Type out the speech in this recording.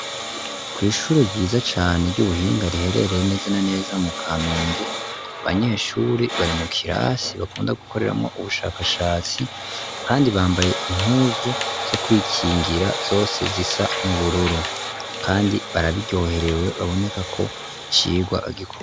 Kw'ishure ryiza cane ry'ubuhinga riherereye nezena neza mu kamenge abanyeshuri bari mu kirasi bakunda gukoreramwo ubushakashatsi kandi bambaye impuzu zo kwikingira zose zisa n'ubururu kandi barabiyoherewe baboneka ko cigwa bagikore.